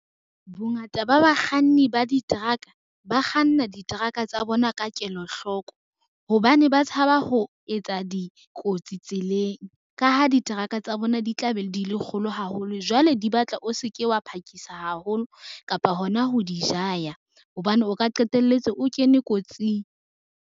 Bongata ba bakganni ba diteraka, ba kganna diteraka tsa bona ka kelo hloko. Hobane ba tshaba ho etsa dikotsi tseleng, ka ha diteraka tsa bona di tla be di le kgolo haholo jwale di batla o se ke wa phakisa haholo kapa hona ho di jaya hobane o ka qetelletse o kene kotsing.